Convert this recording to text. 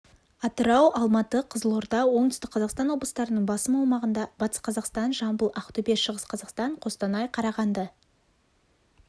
атырау алматы қызылорда оңтүстік қазақстан облыстарының басым аумағында батыс қазақстан жамбыл ақтөбе шығыс қазақстан қостанай қарағанды